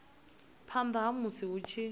phanda ha musi hu tshi